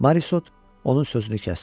Morisot onun sözünü kəsdi.